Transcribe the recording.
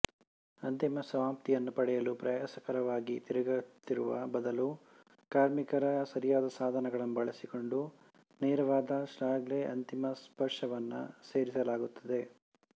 ಅಂತಿಮ ಸಮಾಪ್ತಿಯನ್ನು ಪಡೆಯಲು ಪ್ರಯಾಸಕರವಾಗಿ ತಿರುಗುತ್ತಿರುವ ಬದಲು ಕಾರ್ಮಿಕರ ಸರಿಯಾದ ಸಾಧನಗಳನ್ನು ಬಳಸಿಕೊಂಡು ನೇರವಾದ ಶಾಫ್ಟ್ಗೆ ಅಂತಿಮ ಸ್ಪರ್ಶವನ್ನು ಸೇರಿಸಲಾಗುತ್ತದೆ